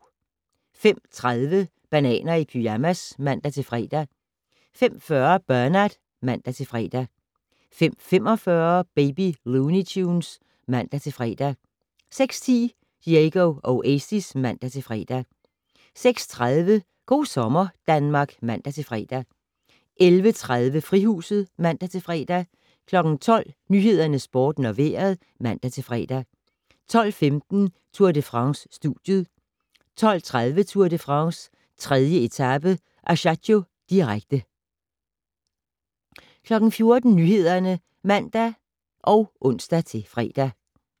05:30: Bananer i pyjamas (man-fre) 05:40: Bernard (man-fre) 05:45: Baby Looney Tunes (man-fre) 06:10: Diego Oasis (man-fre) 06:30: Go' sommer Danmark (man-fre) 11:30: Frihuset (man-fre) 12:00: Nyhederne, Sporten og Vejret (man-fre) 12:15: Tour de France: Studiet 12:30: Tour de France: 3. etape - Ajaccio, direkte 14:00: Nyhederne (man og ons-fre)